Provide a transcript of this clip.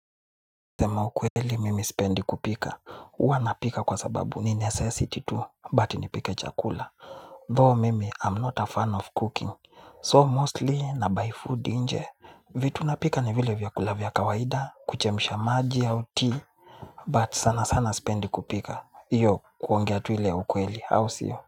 Kusema ukweli mimi sipendi kupika. Huwa napika kwa sababu ni necessity to but ni pike chakula. Though mimi I'm not a fan of cooking. So mostly na buy food nje. Vitu napika ni vile vyakula vya kawaida, kuchemusha maji au tea. But sana sana spendi kupika. Iyo kuongea tu ile ya ukweli au sio.